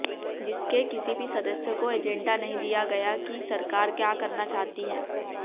जिसके किसी भी सदस्य को एजेंडा नहीं दिया गया कि सरकार क्या करना चाहती है